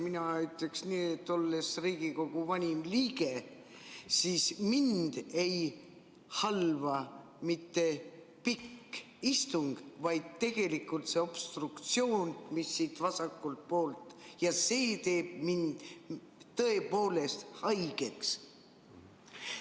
Mina ütleks nii, et olles Riigikogu vanim liige, siis mind ei halva mitte pikk istung, vaid tegelikult see obstruktsioon siit vasakult poolt, ja see teeb mind tõepoolest haigeks.